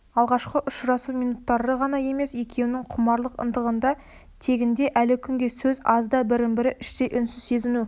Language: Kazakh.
алғашқы ұшырасу минуттары ғана емес екеуінің құмарлық ынтығында тегінде әлі күнге сөз аз да бірін-бірі іштей үнсіз сезіну